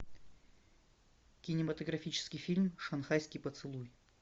кинематографический фильм шанхайский поцелуй